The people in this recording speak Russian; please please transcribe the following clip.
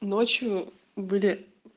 ночью были